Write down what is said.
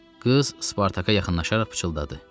Qız Spartaka yaxınlaşaraq pıçıldadı.